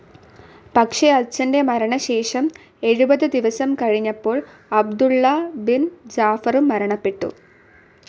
പക്ഷെ അച്ഛൻ്റെ മരണശേഷം എഴുപത് ദിവസം കഴിഞ്ഞപ്പോൾ അബ്ദുള്ള ബിൻ ജാഫറും മരണപ്പെട്ടു.